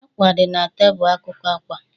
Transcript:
Àkwà dị na tebụl akụkụ àkwà